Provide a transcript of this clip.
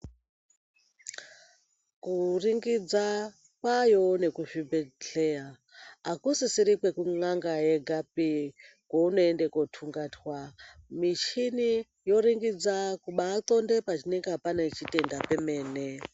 Kuringidza kwaayowo nekuzvibhedhleya. Akusisiri kwekun'anga yegapi kwounoende koothungatwa. Michini yoringidza kubaaxonde panenga pane chitenda pemene.